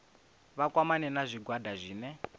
vha kwamane na zwigwada zwine